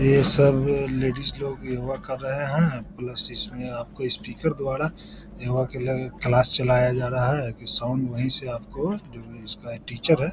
ये सब लेडीज लोग योगा कर रहे हैं प्लस इसमें आपको स्पीकर द्वारा योगा के लगे क्लास चलाया जा रहा है की साउंड वहीं से आपको जो इसका टीचर है --